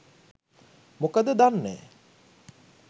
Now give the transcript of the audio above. මොකද දන්නෑ